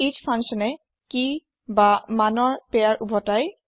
S ফাঙ্কচ্যনে কিভেল্যুৰ pair উভতাই